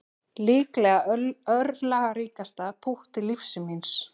Líklega örlagaríkasta pútt lífs míns